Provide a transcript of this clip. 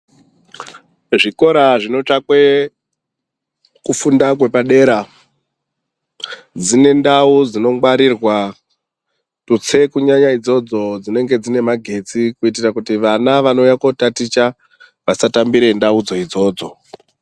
Zvikora zvinotsvakwe kufunda kwepadera zvine ndau dzinongwarirwa tutse kunyanya idzodzo dzinenge dzine magetsi kuitira kuti vana vanouya kotaticha vasatambire ndaudzo idzodzo.